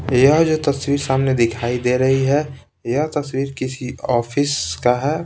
यह जो तस्वीर सामने दिखाई दे रही है यह तस्वीर किसी ऑफिस का है।